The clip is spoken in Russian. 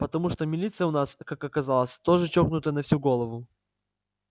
потому что милиция у нас как оказалось тоже чокнутая на всю голову